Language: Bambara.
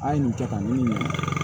An ye nin cɛ ka ɲini